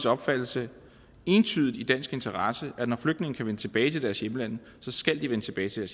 opfattelse entydigt i dansk interesse at når flygtninge kan vende tilbage til deres hjemlande skal de vende tilbage til